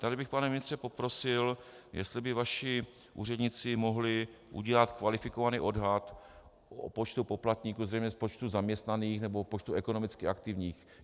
Tady bych, pane ministře, poprosil, jestli by vaši úředníci mohli udělat kvalifikovaný odhad o počtu poplatníků, zřejmě z počtu zaměstnaných nebo z počtu ekonomicky aktivních.